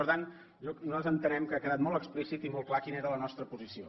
per tant nosaltres entenem que ha quedat molt explícit i molt clar quina era la nostra posició